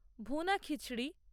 ভুনা খিচড়ি